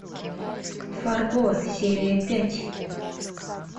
фарго серия пять